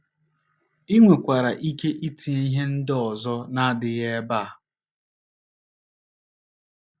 I nwekwara ike itinye ihe ndị ọzọ na - adịghị ebe a.